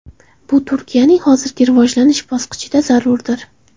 Bu Turkiyaning hozirgi rivojlanish bosqichida zarurdir.